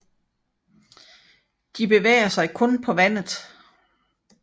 De bevæger sig kun på vandet